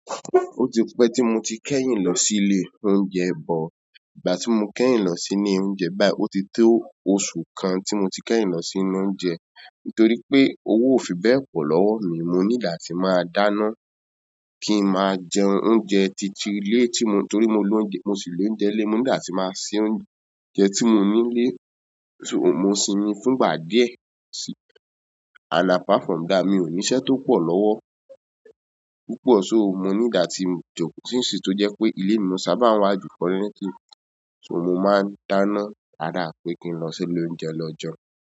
Ó ti pẹ́ tí mo ti kẹ́yìn lọ sí'lé oúnjẹ but, ìgbà tí mo kẹ́yìn lọ sí'lé oúnjẹ báyìí ó ti tó oṣù kan tí mo ti kẹ́yìn lọ sí'lé oúnjẹ. Nítorí pé owó ò fi bẹ́ẹ̀ pọ̀ lọ́wọ́ mi, mo need àti máa dáná, kí n máa jẹ oúnjẹ ti ti ilé tí mo-- torí mo lóúnjẹ, mo ṣì lóúnjẹ nílé, mo need àti máa se óúnjẹ tí mo ní nílé, so mo sinmi fún ìgbà díẹ̀ and apart from that, mi ò ní iṣẹ́ tó pọ̀ lọ́wọ́ púpọ̀, so mo need àti jókòó —since tó jẹ́ pé ilé ni mo sábà ń wà jù currently, so mo máa ń dáná rather pé kí n lọ sí'lé oúnjẹ lọ jẹun.